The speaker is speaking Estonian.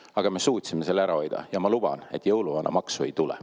Aga me suutsime selle ära hoida ja ma luban, et jõuluvanamaksu ei tule.